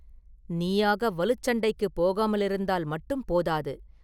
நீயாக வலுச் சண்டைக்குப் போகாமலிருந்தால் மட்டும் போதாது.